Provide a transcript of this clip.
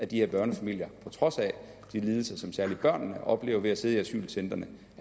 de her børnefamilier på trods af de lidelser som særlig børnene oplever ved at sidde i asylcentrene